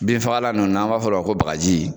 Bin fagalan ninnu n'an b'a fɔ o ma ko bagaji